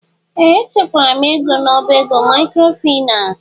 Ee! Echekwara m ego n'ọbá ego maịkrofaịnans.